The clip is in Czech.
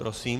Prosím.